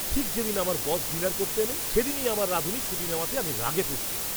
ঠিক যেদিন আমার বস ডিনার করতে এলেন সেদিনই আমার রাঁধুনি ছুটি নেওয়াতে আমি রাগে ফুঁসছিলাম।